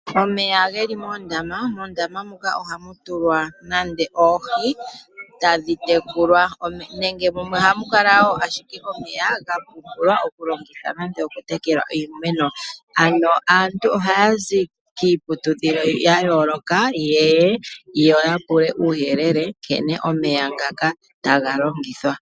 Omeya geli moonda, mondama mwatulwa oohi tadhitekulwa .mumwe ohamukala ashike omeya gavule okulongithwa nande okutekela iimeno ano aantu ohayazi kiiputudhilo yayooloka yapewe uuyelele nkene omeya tagalongithwa.